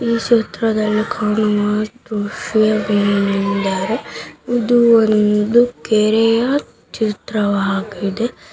ಈ ಚಿತ್ರದಲ್ಲಿ ಕಾಣುವ ದೃಶಯವೇನೆಂದರೆ ಇದು ಒಂದು ಕೆರೆಯ ಚಿತ್ರವಾಗಿದೆ.